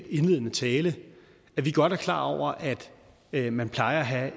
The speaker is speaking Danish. indledende tale at vi godt er klar over at man plejer at have